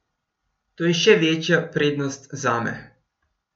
To je še večja prednost zame.